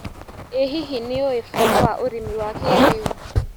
ĩ hihi nĩũĩ bata wa ũrĩmi wa kĩrĩũ.